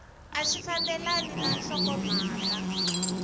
a swi fambelani na nhlokomhaka